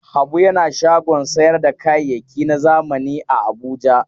Habu yana shagon sayar da kayayyaki na zamani a Abuja.